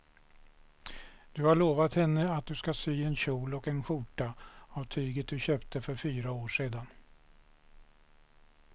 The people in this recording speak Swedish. Du har lovat henne att du ska sy en kjol och skjorta av tyget du köpte för fyra år sedan.